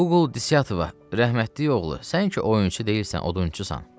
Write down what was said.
Uğuldisətova, rəhmətlik oğlu, sən ki oyunçu deyilsən, odunçusan.